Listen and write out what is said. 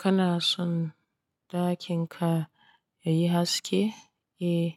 Kana son ɗakin ka yayi haske? Eh